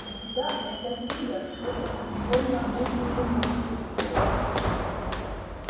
у тебя это фидо что-то уж больно бурные эмоции вызывает